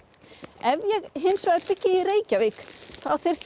ef ég hins vegar byggi í Reykjavík þá þyrfti ég